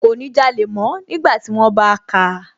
Kò ní jalè mọ́ nígbàtí wón bá káa